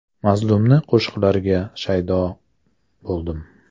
Mazmunli qo‘shiqlariga shaydo bo‘ldim.